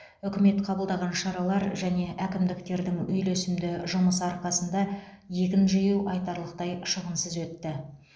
үкімет қабылдаған шаралар және әкімдіктердің үйлесімді жұмысы арқасында егін жинау айтарлықтай шығынсыз өтті